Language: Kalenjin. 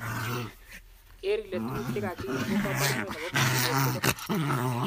Keer ile tuguk che kakiyum ko koborunet nebo mosiget tugul.